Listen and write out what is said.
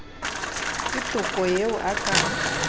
ke toko eo a ka